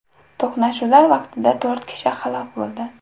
To‘qnashuvlar vaqtida to‘rt kishi halok bo‘ldi.